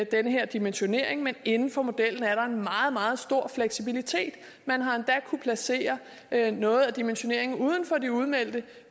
den her dimensionering men inden for modellen er der en meget meget stor fleksibilitet man har endda kunnet placere noget af dimensioneringen uden for de udmeldte